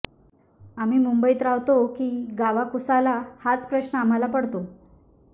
आम्ही मुंबईत राहतो की गावाकुसाला हाच प्रश्न आम्हाला पडतो